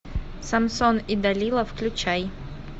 самсон и далила включай